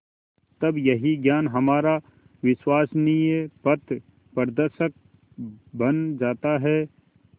तब यही ज्ञान हमारा विश्वसनीय पथप्रदर्शक बन जाता है